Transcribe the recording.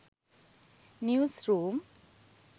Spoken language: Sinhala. news room